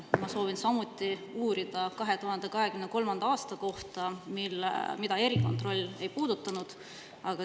Ma soovin samuti uurida 2023. aasta kohta, mida erikontroll ei puudutanud.